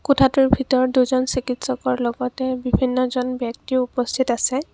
কোঠাটোৰ ভিতৰত দুজন চিকিৎসকৰ লগতে বিভিন্ন জন ব্যক্তিও উপস্থিত আছে।